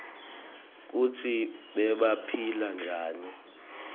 kutsi bebaphila njani